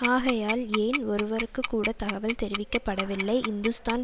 ஆகையால் ஏன் ஒருவருக்குக்கூட தகவல் தெரிவிக்க படவில்லை இந்துஸ்தான்